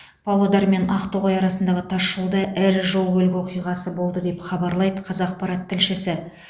павлодар мен ақтоғай арасындағы тасжолда ірі жол көлік оқиғасы болды деп хабарлайды қазақпарат тілшісі